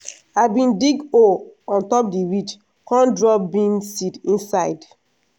i bin dig hole on top di ridge con drop bean seed inside.